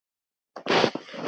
Skilur ekkert.